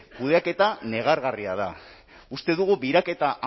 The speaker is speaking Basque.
kudeaketa negargarria da uste dugu biraketa